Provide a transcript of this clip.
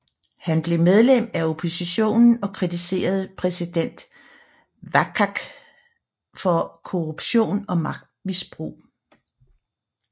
Han blev medlem af oppositionen og kritiserede præsident Waqa for korruption og magtmisbrug